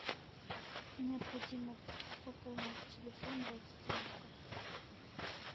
необходимо пополнить телефон родственника